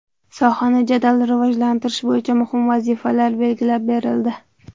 Sohani jadal rivojlantirish bo‘yicha muhim vazifalar belgilab berildi.